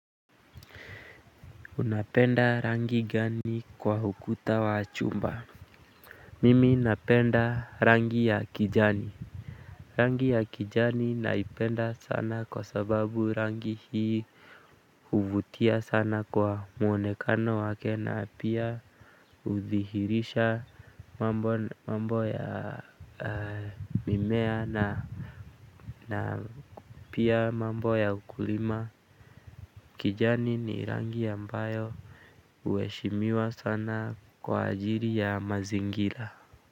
Unapenda rangi gani kwa ukuta wa chumba. Mimi napenda rangi ya kijani. Rangi ya kijani naipenda sana kwa sababu rangi hii huvutia sana kwa mwonekano wake na pia uthihirisha mambo ya mimea na na pia mambo ya ukulima. Kijani ni rangi ambayo huheshimiwa sana kwa ajili ya mazingira.